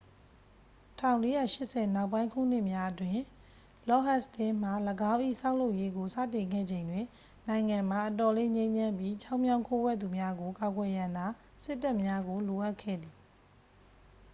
1480 နောက်ပိုင်းခုနှစ်များအတွင်း လော့ဒ်ဟတ်စတင်းမှ ၎င်း၏ ဆောက်လုပ်ရေးကို စတင်ခဲ့ချိန်တွင် နိုင်ငံမှာ အတော်လေး ငြိမ်းချမ်းပြီး ချောင်းမြောင်းခိုးဝှက်သူများကို ကာကွယ်ရန်သာ စစ်တပ်များကို လိုအပ်ခဲ့သည်